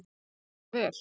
Hann vann það vel.